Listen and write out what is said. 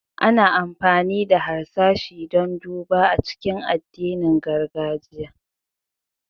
Ana amfani da harsashi don duba a cikin addinin gargajiya.